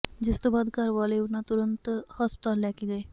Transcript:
ਜਿਸ ਤੋਂ ਬਾਅਦ ਘਰ ਵਾਲੇ ਉਨ੍ਹਾਂ ਤੁਰੰਤ ਹਸਪਤਾਲ ਲੈ ਕੇ ਗਏ